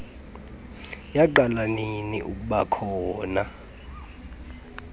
yaqala ninina ukubakhona